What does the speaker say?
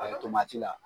A la